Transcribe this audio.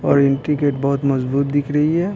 और entry gate बहुत मजबूत दिख रही है।